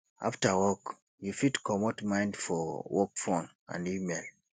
after work you fit comot mind for work phone and email